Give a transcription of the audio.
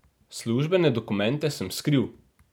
Službene dokumente sem skril.